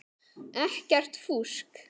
Ekkert fúsk.